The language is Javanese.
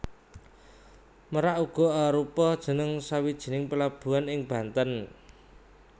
Merak uga arupa jeneng sawijining pelabuhan ing Banten